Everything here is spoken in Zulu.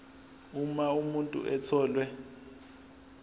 uma umuntu etholwe